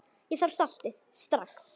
Ég þarf saltið strax.